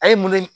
A ye mun